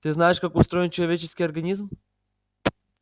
ты знаешь как устроен человеческий организм